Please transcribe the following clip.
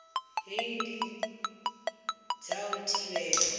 hei ndi dza u thivhela